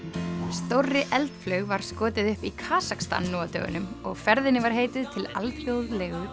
stórri eldflaug var skotið upp í Kasakstan nú á dögunum og ferðinni heitið til alþjóðlegu